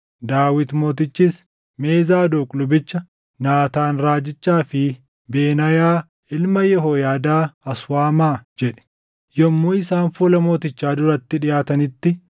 Daawit mootichis, “Mee Zaadoq lubicha, Naataan raajichaa fi Benaayaa ilma Yehooyaadaa as waamaa” jedhe. Yommuu isaan fuula mootichaa duratti dhiʼaatanitti,